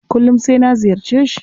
Kullum sai na ziyarce shi.